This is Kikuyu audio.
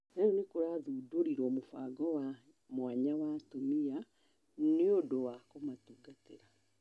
rĩu nĩkũrathũndorirwo mũbango wa mwanya wa atumia nĩũndũ wa kumatungatira